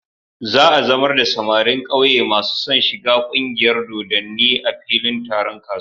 Za a zamar da samarin ƙauye masu son shiga ƙungiyar dodanni a filin taron kasuwa.